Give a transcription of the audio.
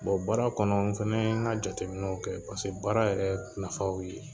baara kɔnɔ n fɛnɛ ye n ka jateminɛw kɛ baara yɛrɛw nafa ye o ye.